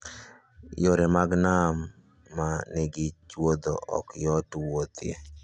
Yore mag nam ma nigi chuodho ok yot wuothie.